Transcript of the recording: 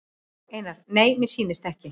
Einar: Nei mér sýnist ekki.